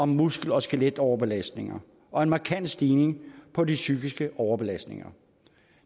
muskel og skeletoverbelastninger og en markant stigning på de psykiske overbelastninger